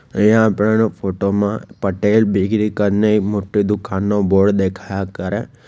અહીંયા આપેલ ફોટો માં પટેલ બેકરી કરને એક મોટી દુકાનનો બોર્ડ દેખાયા કરે.